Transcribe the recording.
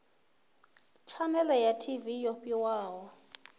tshanele ya tv yo fhiwaho